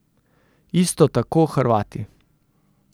Isto tako Hrvati.